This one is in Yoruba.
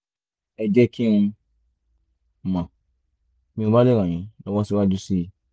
ẹ jẹ́ kí n mọ̀ bí mo bá lè ràn yín lọ́wọ́ síwájú sí i